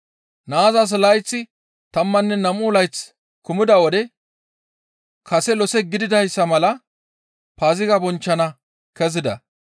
Naazas layththay tammanne nam7u layth kumida wode kase lose gididayssa mala Paaziga bonchchana kezida.